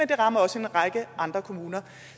det rammer også en række andre kommuner